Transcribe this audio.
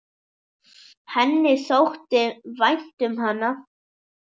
Henni þótti vænt um hana.